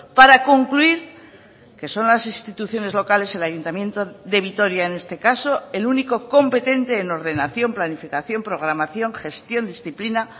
para concluir que son las instituciones locales el ayuntamiento de vitoria en este caso el único competente en ordenación planificación programación gestión disciplina